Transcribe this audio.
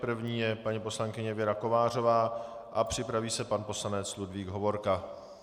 První je paní poslankyně Věra Kovářová a připraví se pan poslanec Ludvík Hovorka.